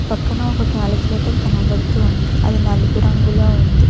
పక్కన ఒక క్యాలిక్యులేటర్ కనబడుతుంది అది నలుపు రంగులో ఉంది.